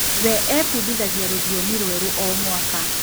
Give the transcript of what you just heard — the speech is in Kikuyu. We ebundithagia rũthiomi rwerũ o mwaka